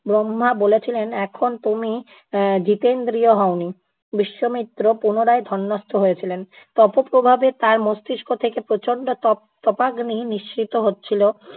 ব্রহ্মা বলেছিলেন এখন তুমি এ্যা জিতেন্দ্রিয় হওনি। বিশ্বমিত্র পুনরায় ধনস্থ হয়েছিলেন। তপ প্রভাবে তার মস্তিস্ক থেকে প্রচন্ড তপ~ তপাগ্নি নিঃসৃত হচ্ছিল।